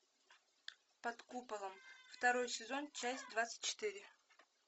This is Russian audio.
под куполом второй сезон часть двадцать четыре